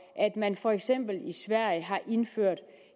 at man for eksempel i sverige har indført